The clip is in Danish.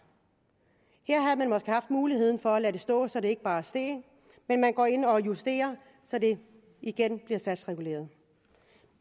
her muligheden for at lade det stå så det ikke bare steg men man går ind og justerer så det igen bliver satsreguleret